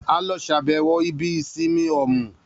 A lọ ṣàbẹ̀wọ̀ ibi ìsinmi Òmù